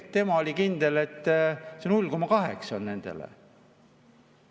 Tema oli kindel, et see 0,8 on nendele.